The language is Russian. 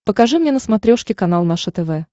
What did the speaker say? покажи мне на смотрешке канал наше тв